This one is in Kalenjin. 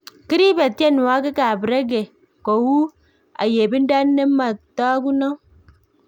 Kiribeh tienwogik ab Reggae kou ayebindo ne matakunot